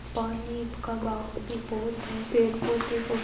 पानी का बहाव भी बहोत हैं पेड़ पौधे बहोत --